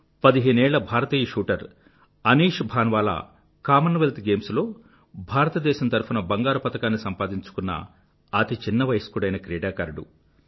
15ఏళ్ళ భారతీయ shooter Anish Bhanwala Commonwealth Games లో భారతదేశం తరఫున బంగారు పతకాన్ని సంపాదించుకున్న అతి చిన్న వయస్కుడైన క్రీడాకారుడు